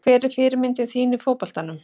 Hver er fyrirmynd þín í fótboltanum?